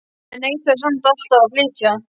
En neitaði samt alltaf að flytja.